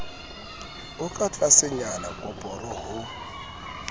o ka tlasenyana koporo ho